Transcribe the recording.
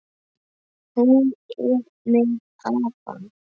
Hún er með afa.